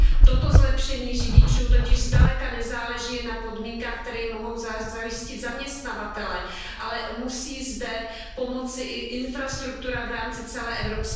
Toto zlepšení pro řidiče totiž zdaleka nezáleží jen na podmínkách, které jim mohou zajistit zaměstnavatelé, ale musí zde pomoci i infrastruktura v rámci celé EU.